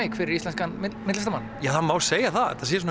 fyrir íslenskan myndlistarmann það má segja það að þetta sé svona